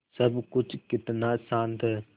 सब कुछ कितना शान्त है